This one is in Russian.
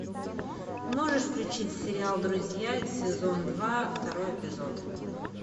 можешь включить сериал друзья сезон два второй эпизод